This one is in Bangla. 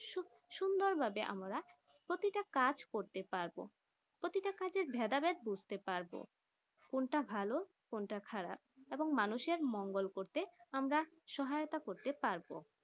সুন্দর ভাবে আমরা প্রতিটা কাজ করতে পারবো প্রতিটা কাজের ভেদা ভেদ বুছতে পারবো কোনটা ভালো কোনটা খারাপ এবং মানুষে মঙ্গল করতে আমরা সহায়তা করতে পারবো